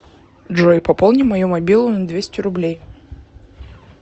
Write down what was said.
джой пополни мою мобилу на двести рублей